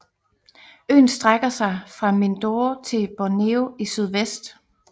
Øen strækker sig fra Mindoro til Borneo i sydvest